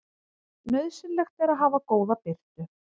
Nauðsynlegt er að hafa góða birtu.